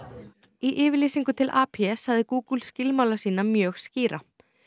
í yfirlýsingu til sagði Google skilmála sína mjög skýra